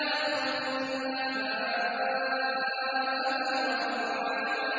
أَخْرَجَ مِنْهَا مَاءَهَا وَمَرْعَاهَا